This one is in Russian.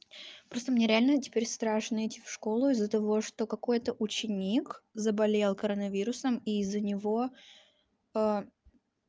просто мне реально теперь страшно идти в школу из-за того что какой-то ученик заболел коронавирусом и из-за него